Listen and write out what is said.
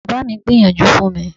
Bàbá mi gbìyànjú fún mi.